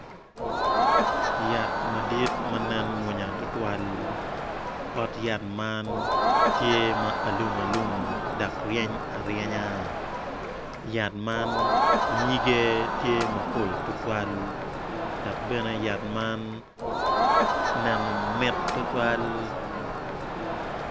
Yat madit ma nen mwonya tutwal ma ryeny aryenya yat man nyige tye mapol tutwal dok bene yat man neno mit tutwal.